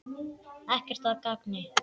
Ekkert að gagni.